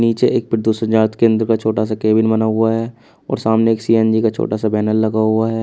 नीचे एक प्रदूषण जांच केंद्र का छोटा सा केबिन बना हुआ है और सामने एक सी_एन_जी का छोटा सा बैनर लगा हुआ है।